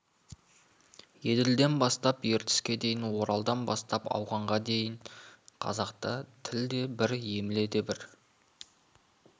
еділден бастап ертіске дейін оралдан бастап ауғанға шейін қазақта тіл де бір емле де бір